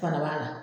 Fana b'a la